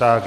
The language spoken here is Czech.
Tak.